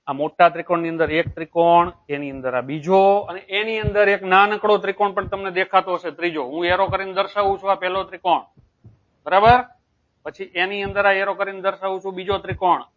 આ મોટા ત્રિકોણ ની અંદર એક ત્રિકોણ એની અંદર આ બીજો અને એની અંદર એક નાનકડો ત્રિકોણ પણ તમને દેખાતો હશે. ત્રીજો હું arrow કરીને દર્શાવું છું આ પેલો ત્રિકોણ બરાબર પછી એની અંદર આ arrow કરીને દર્શાવું બીજો ત્રિકોણ